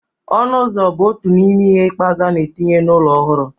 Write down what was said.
Ọnụ ụzọ bụ otu n'ime ihe ikpeazụ a na-etinye n'ụlọ ọhụrụ